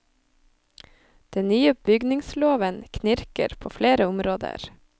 Den nye bygningsloven knirker på flere områder.